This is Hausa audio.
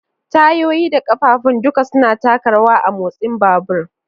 Tayoyi da ƙafafun duka suna taka rawa a motsin babur.